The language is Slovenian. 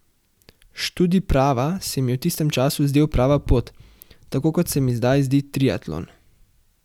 Študij prava se mi je v tistem času zdel prava pot, tako kot se mi zdaj zdi triatlon.